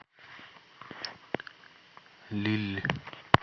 лилль